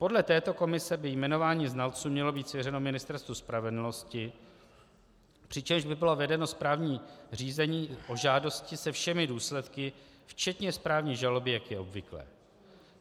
Podle této komise by jmenování znalců mělo být svěřeno Ministerstvu spravedlnosti, přičemž by bylo vedeno správní řízení o žádosti se všemi důsledky, včetně správní žaloby, jak je obvyklé.